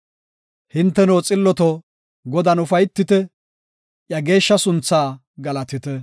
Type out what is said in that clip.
Hinteno xilloto, Godan ufaytite; iya geeshsha sunthaa galatite.